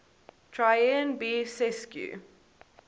traian b sescu